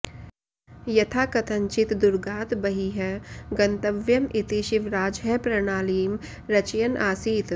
यथाकथञ्चित् दुर्गात् बहिः गन्तव्यम् इति शिवराजः प्रणालीं रचयन् आसीत्